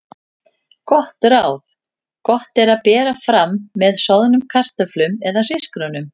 Gott ráð: Gott að bera fram með soðnum kartöflum eða hrísgrjónum.